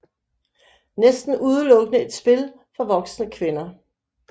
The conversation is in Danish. Næsten udelukkende et spil for voksne kvinder